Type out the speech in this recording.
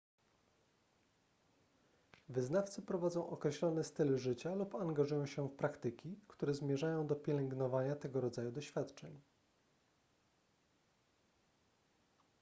wyznawcy prowadzą określony styl życia lub angażują się w praktyki które zmierzają do pielęgnowania tego rodzaju doświadczeń